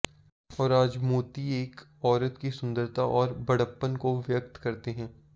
और आज मोती एक औरत की सुंदरता और बड़प्पन को व्यक्त करते हैं